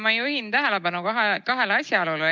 Ma juhin tähelepanu kahele asjaolule.